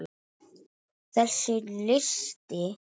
Þessi listi tæmist ekki.